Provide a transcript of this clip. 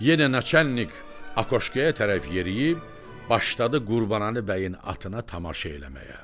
Yenə naçalnik akoşkaya tərəf yeriyib başladı Qurbanəli bəyin atına tamaşa eləməyə.